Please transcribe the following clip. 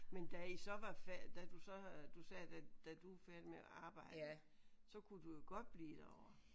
Men da I så var færdig da du så du sagde da da du var færdig med at arbejde så kunne du jo godt blive derovre